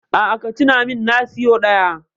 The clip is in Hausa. A'a, ka tuna min na siyo ɗaya.